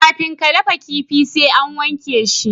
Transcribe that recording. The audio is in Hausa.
kafin a dafa kifi sai an wake shi